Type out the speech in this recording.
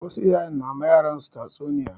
Wasu iyayen na ma yaran su tatsu niya